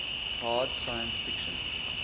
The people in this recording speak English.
hard science fiction